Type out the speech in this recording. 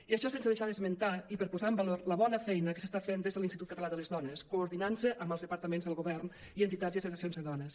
i això sense deixar d’esmentar i per posar en valor la bona feina que s’està fent des de l’institut català de les dones coordinant se amb els departaments del govern i entitats i associacions de dones